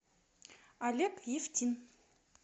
олег евтин